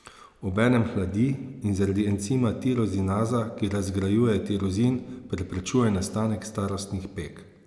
Obenem hladi in zaradi encima tirozinaza, ki razgrajuje tirozin, preprečuje nastanek starostnih peg.